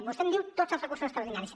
vostè em diu tots els recursos extraordinaris